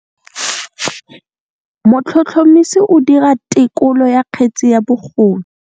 Motlhotlhomisi o dira têkolô ya kgetse ya bogodu.